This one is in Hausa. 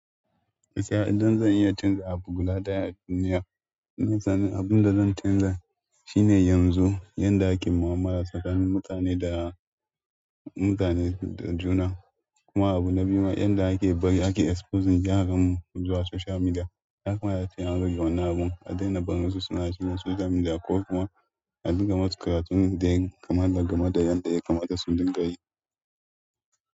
Gaskiya idan zan iya canza abu guda ɗaya a duniya, ina tunanin abin da zan canza shine yanzu yadda ake mu'amala tsakanin mutane da mutane da juna. Kuma abu na biyu ma yadda ake bari ake exposing yaran mu zuwa social media. Ya kamata a ce an rage wannan abun a daina barin su suna cikin social media ko kuma a dinga masu karatun da ya kamata game da yadda ya kamata su dinga yi.